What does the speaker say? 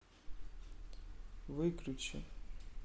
выключи